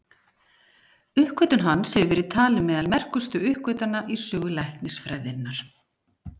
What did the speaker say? Uppgötvun hans hefur verið talin meðal merkustu uppgötvana í sögu læknisfræðinnar.